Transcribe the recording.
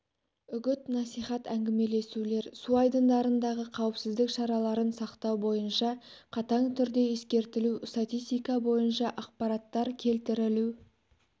үгіт-насихат әңгімелесулер су айдындарындағы қауіпсіздік шараларын сақтау бойынша қатаң түрде ескертілу статистика бойынша ақпараттар келтірілу